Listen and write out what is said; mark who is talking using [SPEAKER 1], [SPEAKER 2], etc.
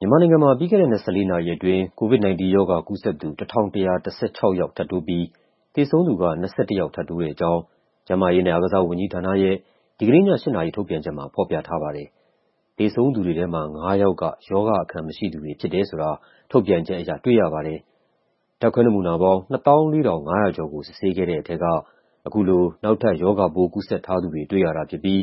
[SPEAKER 1] မြန်မာနိုင်ငံမှာ ပြီးခဲ့တဲ့ ၂၄ နာရီအတွင်း COVID-19 ရောဂါကူးစက်သူ ၁,၁၁၆ ယောက် ထပ်တိုးပြီး သေဆုံးသူက ၂၁ ယောက် ထပ်တိုးတဲ့အကြောင်း ကျန်းမာရေးနဲ့အားကစားဝန်ကြီးဌာနရဲ့ ဒီကနေ့ည ၈ နာရီ ထုတ်ပြန်ချက်မှာ ဖော်ပြထားပါတယ်။ သေဆုံးသူတွေထဲမှာ ၅ ယောက်က ရောဂါအခံမရှိသူတွေဖြစ်တယ်ဆိုတာ ထုတ်ပြန်ချက်အရ တွေ့ရပါတယ်။ ဓာတ်ခွဲနမူနာပေါင်း ၂၄,၅၀၁ ခုကို စစ်ဆေးခဲ့တဲ့ထဲက အခုလို နောက်ထပ် ရောဂါပိုးကူးစက်ထားသူတွေ တွေ့ရတာဖြစ်ပြီး